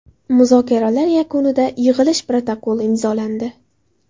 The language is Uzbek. Muzokaralar yakunida yig‘ilish protokoli imzolandi.